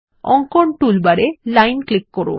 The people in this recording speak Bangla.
অঙ্কন টুলবার এ লাইন ক্লিক করুন